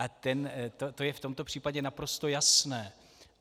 A to je v tomto případě naprosto jasné.